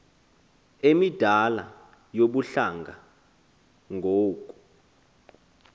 emidala yobuhlanga ngoku